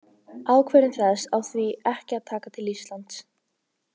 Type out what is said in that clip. Ákvörðun þessi á því ekki að taka til Íslands.